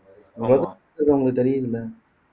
ஆமா இது உங்களுக்கு தெரியும்ல